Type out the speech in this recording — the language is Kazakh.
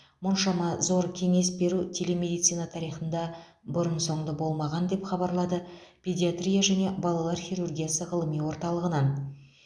мұншама зор кеңес беру телемедицина тарихында бұрын соңды болмаған деп хабарлады педиатрия және балалар хирургиясы ғылыми орталығынан